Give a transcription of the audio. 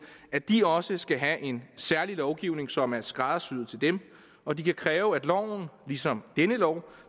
at de også skal have en særlig lovgivning som er skræddersyet til dem og de kan kræve at loven ligesom denne lov